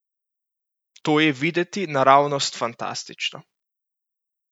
To je videti naravnost fantastično!